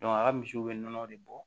a ka misiw bɛ nɔnɔ de bɔ